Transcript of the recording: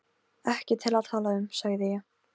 Ekki til að tala um, sagði ég.